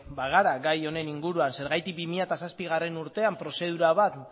bagara gai honen inguruan zergatik bi mila zazpigarrena urtean prozedura bat